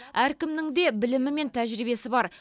әркімнің де білімі мен тәжірибесі бар